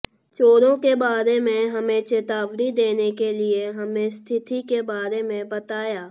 चोरों के बारे में हमें चेतावनी देने के लिए हमें स्थिति के बारे में बताया